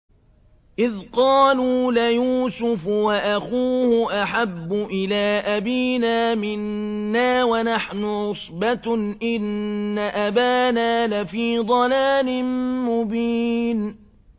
إِذْ قَالُوا لَيُوسُفُ وَأَخُوهُ أَحَبُّ إِلَىٰ أَبِينَا مِنَّا وَنَحْنُ عُصْبَةٌ إِنَّ أَبَانَا لَفِي ضَلَالٍ مُّبِينٍ